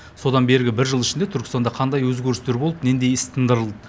содан бергі бір жыл ішінде түркістанда қандай өзгерістер болды нендей іс тындырылды